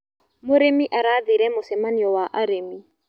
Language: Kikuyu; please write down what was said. Mũrĩmi arathire mũcemanio wa arĩmi.